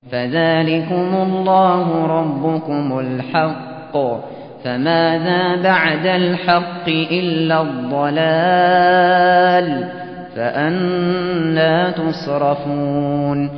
فَذَٰلِكُمُ اللَّهُ رَبُّكُمُ الْحَقُّ ۖ فَمَاذَا بَعْدَ الْحَقِّ إِلَّا الضَّلَالُ ۖ فَأَنَّىٰ تُصْرَفُونَ